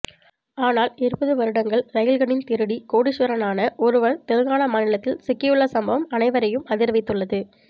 ஆனால் இருபது வருடங்கள் ரயில்களின் திருடி கோடீஸ்வரனான ஒருவர் தெலுங்கானா மாநிலத்தில் சிக்கியுள்ள சம்பவம் அனைவரையும் அதிர வைத்துள்ளது